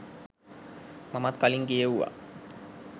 මමත් කලින් කියෙව්වා.